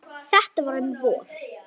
Þetta var um vor.